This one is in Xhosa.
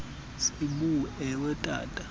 sibu ewe tata